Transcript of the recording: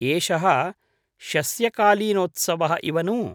एषः शस्यकालीनोत्सवः इव नु?